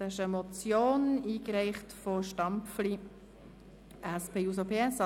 Das ist eine Motion, eingereicht von Grossrat Stampfli, SP-JUSO-PSA: